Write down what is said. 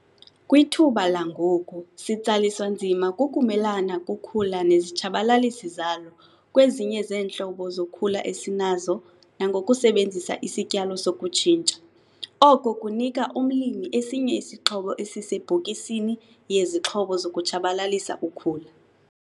Kwithuba langoku sitsaliswa nzima kukumelana kokhula nezitshabalalisi zalo kwezinye zeentlobo zokhula esinazo nangokusebenzisa isityalo sokutshintsha, oko kunika umlimi esinye isixhobo esisebhokisini yezixhobo zokutshabalalisa ukhula.